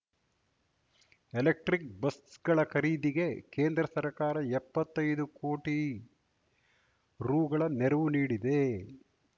electric ಬಸ್‌ಗಳ ಖರೀದಿಗೆ ಕೇಂದ್ರ ಸರ್ಕಾರ ಎಪ್ಪತ್ತೈದು ಕೋಟಿ ರೂ ಗಳ ನೆರವು ನೀಡಿದೆ